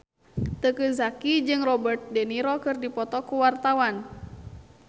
Teuku Zacky jeung Robert de Niro keur dipoto ku wartawan